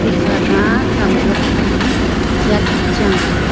khama zangjop ham chat chang a.